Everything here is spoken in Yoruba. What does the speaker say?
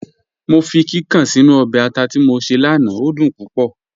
Mọ fi kíkàn sínu ọbẹ̀ àtà tí mọ ṣé lánà, o dún púpọ̀.